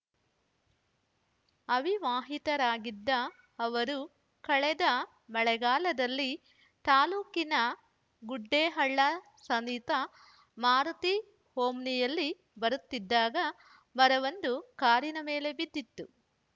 ಅವಿವಾಹಿತರಾಗಿದ್ದ ಅವರು ಕಳೆದ ಮಳೆಗಾಲದಲ್ಲಿ ತಾಲೂಕಿನ ಗುಡ್ಡೇಹಳ್ಳ ಸಮೀಪ ಮಾರುತಿ ಓಮ್ನಿಯಲ್ಲಿ ಬರುತ್ತಿದ್ದಾಗ ಮರವೊಂದು ಕಾರಿನ ಮೇಲೆ ಬಿದ್ದಿತ್ತು